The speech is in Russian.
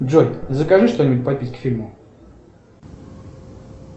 джой закажи что нибудь попить к фильму